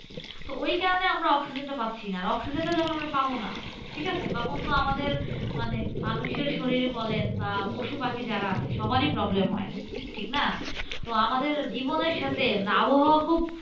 তো ওই কারণে আমরা oxygen টা পাচ্ছিনা। আর oxygen টা যখন আমরা পাবনা, ঠিকাছে? তখন তো আমাদের মানে মানুষের শরীরে বলেন বা পশুপাখি যারা আছে সবারই problem হয়। ঠিকনা? তো আমাদের জীবনের সাথে আবহাওয়া খুব